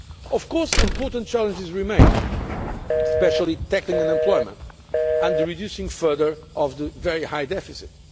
markets. Of course, important challenges remain, especially tackling unemployment and reducing further the very high